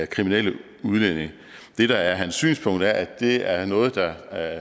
kriminelle udlændinge det der er hans synspunkt er at det er noget der